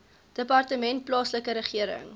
departement plaaslike regering